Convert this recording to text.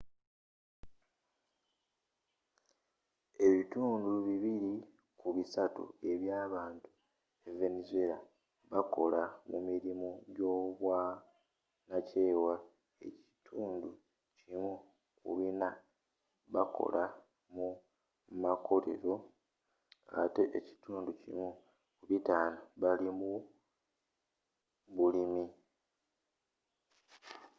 ebitundu bibili ku bisatu eby'abantu e venezuela bakola mu mirimu gy'obwanakyewa ekitundu kimu ku bina bakola mu makolero ate ekitundu kimu ku bitano bali mu bulimi